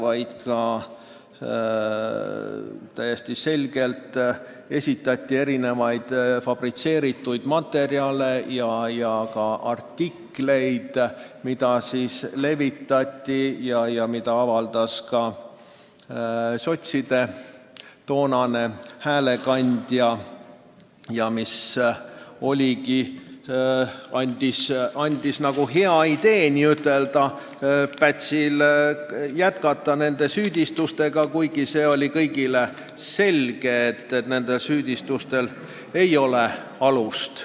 Ilmselgelt esitati ka mitmesuguseid fabritseeritud materjale, sh artikleid, mida avaldas ka sotside toonane häälekandja ja mis andsid Pätsile hea idee neid süüdistusi jätkata, kuigi kõigile oli selge, et nendel süüdistustel ei ole alust.